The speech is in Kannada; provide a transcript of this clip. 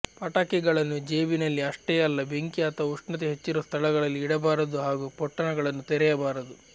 ಪಟಾಕಿಗಳನ್ನು ಜೇಬಿನಲ್ಲಿ ಅಷ್ಟೇ ಅಲ್ಲ ಬೆಂಕಿ ಅಥವಾ ಉಷ್ಣತೆ ಹೆಚ್ಚಿರುವ ಸ್ಥಳಗಳಲ್ಲಿ ಇಡಬಾರದು ಹಾಗೂ ಪೊಟ್ಟಣಗಳನ್ನು ತೆರೆಯಬಾರದು